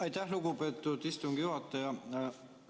Aitäh, lugupeetud istungi juhataja!